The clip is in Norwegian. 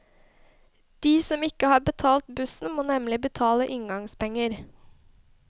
De som ikke har betalt bussen, må nemlig betale inngangspenger.